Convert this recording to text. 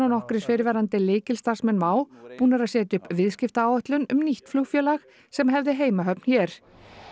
og nokkrir fyrrverandi lykilstarfsmenn WOW búnir að setja upp nýja viðskiptaáætlun um nýtt flugfélag sem hefði heimahöfn hér